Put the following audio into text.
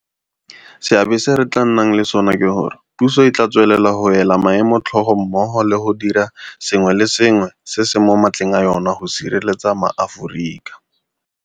Seabe se re tla nnang le sona ke gore, puso e tla tswelela go ela maemo tlhoko mmogo le go dira sengwe le sengwe se se mo matleng a yona go sireletsa maAforika.